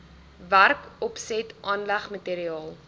werkopset aanleg materiaal